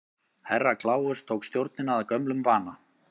Herra Kláus tók stjórnina að gömlum vana.